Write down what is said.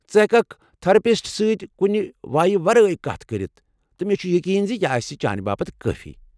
ژٕ ہیككھ تٔھیرپِسٹس سٕتۍ کُنہ وایہ ورٲے کتھ کٔرتھ تہٕ مےٚ چُھ یقین یہِ آسہِ چانہِ باپت کٲفی۔